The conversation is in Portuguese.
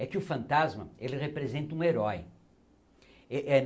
É que o fantasma ele representa um herói. eh eh